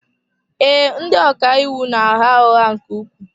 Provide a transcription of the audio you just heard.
Ee, ndị ọka iwu na-agha ụgha nke ukwuu.